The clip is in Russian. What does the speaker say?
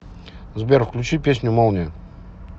сбер включи песню молния